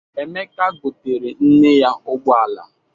Emeka goteere nne ya ụgbọala.